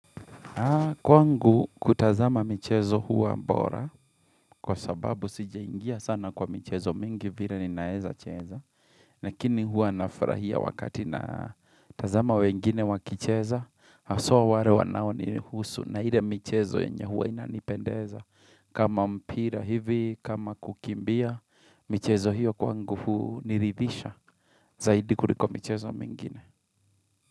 Kwangu kutazama michezo huwa bora kwa sababu sijeingia sana kwa mchezo mingi vile ninaweza cheza. Lakini huwa nafurahia wakati na tazama wengine wakicheza haswa ware wanao ni husu na hile mchezo yenye huwa inanipendeza. Kama mpira hivi, kama kukimbia, mchezo hiyo kwangu huu niridhisha zaidi kuliko michezo mingine.